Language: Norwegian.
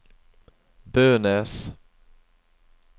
Bønes